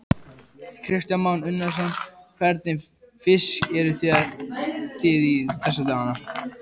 Kristján Már Unnarsson: Hvernig fisk eruð þið í þessa dagana?